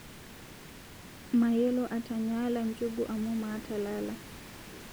Mayiolo aatanyaala njugu amu maata lala